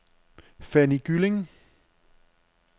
Fanny Gylling